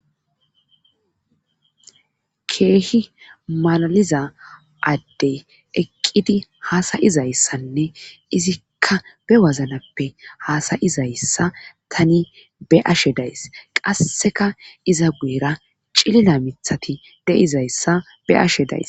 keehi malaliza addey eqqidi haasayizayssanne izikka be waznappe haasayizayssa tani be ashe days qasseka iza guyra cilila mithati deizayssa be ashe days